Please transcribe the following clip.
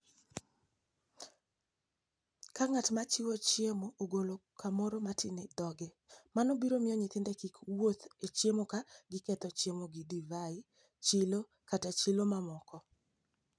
47. Ka ng'at ma chiwo chiemono ogolo kamoro matin e dhoge, mano biro miyo nyithinde kik wuothi e chiemo ka giketho chiemono gi divai, chilo, kata chilo mamoko.